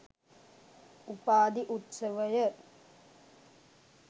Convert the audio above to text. උපාධි උත්සවය